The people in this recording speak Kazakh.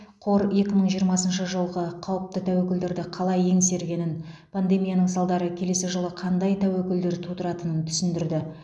қор екі мың жиырмасыншы жылғы қауіпті тәуекелдерді қалай еңсергенін пандемияның салдары келесі жылы қандай тәуекелдер тудыратынын түсіндірді